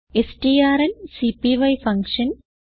സ്ട്രാങ്ക്പൈ function